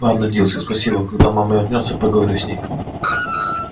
ладно дилси спасибо когда мама вернётся я поговорю с ней